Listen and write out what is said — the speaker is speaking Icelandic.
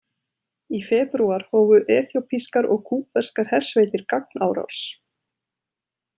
Í febrúar hófu eþíópískar og kúbverskar hersveitir gagnárás.